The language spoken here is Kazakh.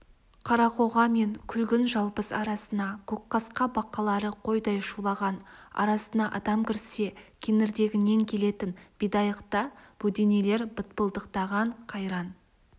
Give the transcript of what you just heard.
қарақоға мен күлгін жалбыз арасына көкқасқа бақалары қойдай шулаған арасына адам кірсе кеңірдегінен келетін бидайықта бөденелер бытпылдықтаған қайран